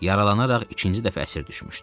Yaralanaraq ikinci dəfə əsir düşmüşdü.